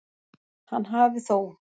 Hann hafi þó